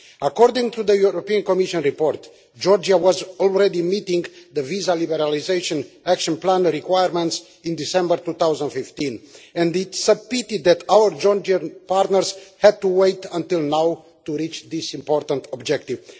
According to the European Commission report, Georgia was already meeting the visa liberalisation Action Plan requirements in December 2015 and it is a pity that our Georgian partners had to wait until now to reach this important objective.